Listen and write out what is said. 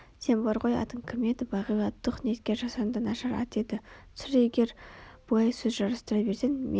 сен бар ғой атың кім еді бағила туһ неткен жасанды нашар ат еді сұр егер бұлай сөз жарыстыра берсең мен